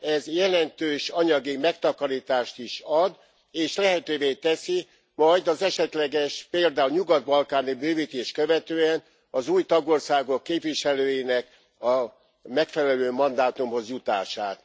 Ez jelentős anyagi megtakarítást is ad, és lehetővé teszi majd az esetleges, például nyugat balkáni bővítést követően az új tagországok képviselőinek a megfelelő mandátumhoz jutását.